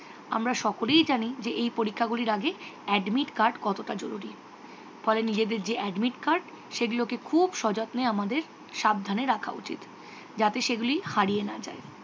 আমরা সকলেই জানি যে এই পরীক্ষাগুলির আগে admit card কতটা জরুরি। ফলে নিজেদের যে admit card সেগুলকে খুব সযত্নে আমাদের। সাবধানে রাখা উচিত। যাতে সেগুলি হারিয়ে না যায়।